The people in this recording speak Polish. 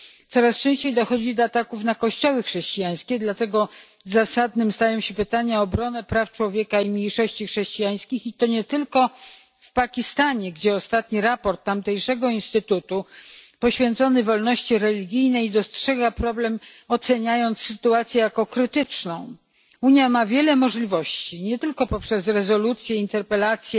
Coraz częściej dochodzi do ataków na kościoły chrześcijańskie, dlatego zasadne stają się pytania o obronę praw człowieka i mniejszości chrześcijańskich, i to nie tylko w Pakistanie, gdzie w ostatnim raporcie tamtejszego instytutu poświęconym wolności religijnej wskazano problem, oceniając sytuację jako krytyczną. Unia ma wiele możliwości nie tylko poprzez rezolucje, interpelacje